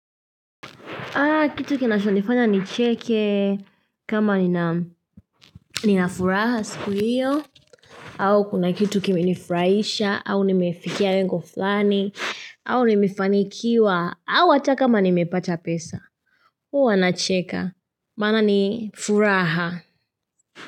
Ah, kitu kinachonifanya nicheke, kama nina furaha siku hiyo. Au kuna kitu kimenifurahisha, au nimefikia lengo fulani, au nimefanikiwa. Au hata kakama nimepata pesa. Huwa nacheka. Maana ni furaha.